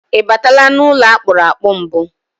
Ị batala n'ụlọ akpụrụ akpụ mbụ?